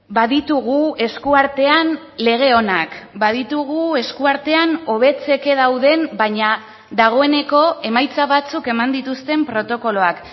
baditugu eskuartean lege onak baditugu eskuartean hobetzeke dauden baina dagoeneko emaitza batzuk eman dituzten protokoloak